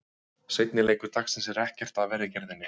Seinni leikur dagsins er ekkert af verri gerðinni.